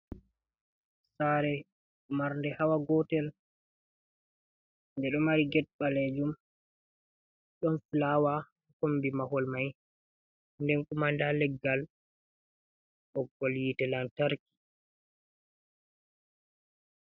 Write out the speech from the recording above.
Sare, marnɗe hawa gotel. Ɗe ɗo mari get ɓalejum. Ɗon fulawa komɓi mahol mai, nɗen kuma nɗa leggal ɓoggol yite lantarki.